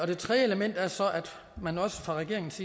det tredje element er så at man også fra regeringens